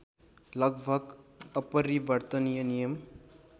लगभग अपरिवर्तनीय नियम